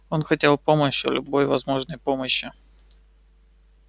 он хотел помощи любой возможной помощи